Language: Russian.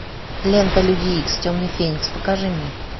лента люди икс темный феникс покажи мне